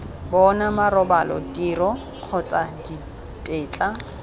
bona marobalo tiro kgotsa ditetla